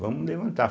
Vamos levantar.